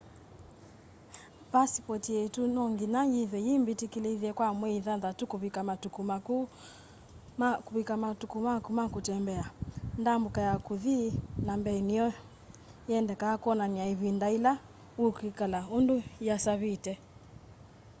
pasipoti yitu no nginya yithwe yi mbitikilithye kwa mwei thanthatu kuvika matuku maku ma kutembea ndambuka ya kuthi na mbee niyendekaa kwonany'a ivinda ila ukwikala undu yiasavite